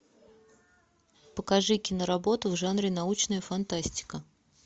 покажи киноработу в жанре научная фантастика